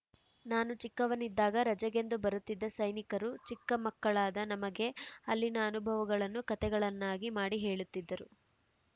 ನಾನು ಚಿಕ್ಕವನಿದ್ದಾಗ ರಜೆಗೆಂದು ಬರುತ್ತಿದ್ದ ಸೈನಿಕರು ಚಿಕ್ಕಮಕ್ಕಳಾದ ನಮಗೆ ಅಲ್ಲಿನ ಅನುಭವಗಳನ್ನು ಕಥೆಗಳನ್ನಾಗಿ ಮಾಡಿ ಹೇಳುತ್ತಿದ್ದರು